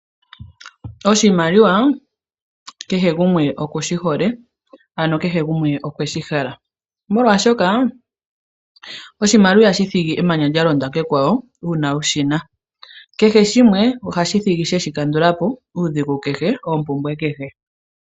Oshimaliwa kehe gumwe oku shi hole, ano kehe gumwe okweshi hala molwaashoka oshimaliwa ihashi thigi eemanya lya londa kekwawo uuna wu shina kehe shimwe ohashi thigi sheshi kandulapo uudhigu kehe oompumbwe kehe